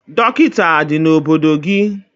Dọkịta adị n'obodo gị?